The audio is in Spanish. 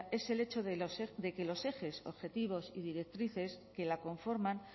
es el hecho de que los ejes objetivos y directrices que la conforman